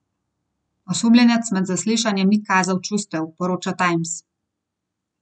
Osumljenec med zaslišanjem ni kazal čustev, poroča Times.